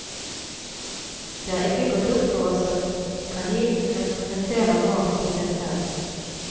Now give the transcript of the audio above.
Det har ikke gått opp for oss at kanin represeterer mat i seg selv.